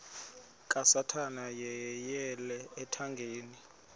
kasathana yeyele ethangeni